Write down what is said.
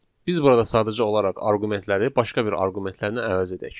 Biz burada sadəcə olaraq arqumentləri başqa bir arqumentlərinə əvəz edək.